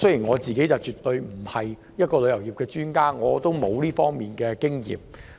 我並非旅遊業專家，亦沒有這方面的經驗。